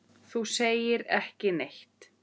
Þú segir ekki neitt.